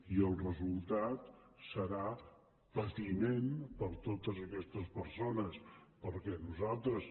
i el resultat serà patiment per a totes aquestes persones perquè nosaltres